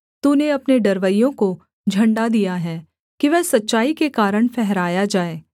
तूने अपने डरवैयों को झण्डा दिया है कि वह सच्चाई के कारण फहराया जाए सेला